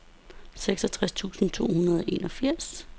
seksogtres tusind to hundrede og enogfirs